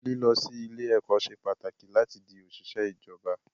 Lílọ sí ilé ẹ̀kọ́ ṣe pàtàkì láti di òṣìṣẹ́ ìjọba